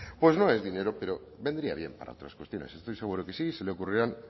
pues no es dinero pero vendría bien para otras cuestiones estoy seguro que sí se le ocurrirán